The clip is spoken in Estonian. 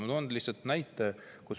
Ma toon lihtsalt näite.